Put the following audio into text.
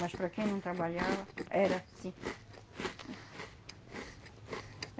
Mas para quem não trabalhava, era, sim.